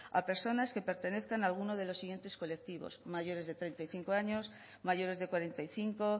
a personas que pertenezcan a alguno de los siguientes colectivos mayores de treinta y cinco años mayores de cuarenta y cinco